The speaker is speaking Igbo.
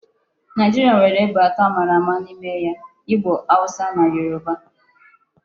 Naijiria nwere ebo ato a mara ama n'ime ya; Igbo, Hausa na Yoruba